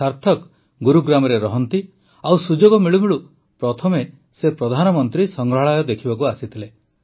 ସାର୍ଥକ ଗୁରୁଗ୍ରାମରେ ରହନ୍ତି ଓ ସୁଯୋଗ ମିଳୁମିଳୁ ପ୍ରଥମେ ସେ ପ୍ରଧାନମନ୍ତ୍ରୀ ସଂଗ୍ରହାଳୟ ଦେଖିବାକୁ ଆସିଥିଲେ